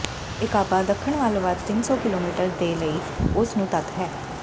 ਏਕਾਬਾ ਦੱਖਣ ਵੱਲ ਵੱਧ ਤਿੰਨ ਸੌ ਕਿਲੋਮੀਟਰ ਦੇ ਲਈ ਉਸ ਨੂੰ ਤੱਕ ਹੈ